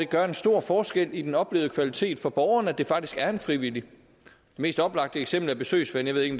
gør en stor forskel i den oplevede kvalitet for borgerne fordi det faktisk er en frivillig det mest oplagte eksempel er besøgsven jeg ved ikke